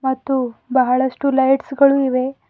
ಮತ್ತು ಬಹಳಷ್ಟು ಲೈಟ್ಸ್ ಗಳು ಇವೆ.